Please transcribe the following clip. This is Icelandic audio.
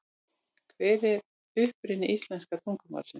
Hver er uppruni íslenska tungumálsins?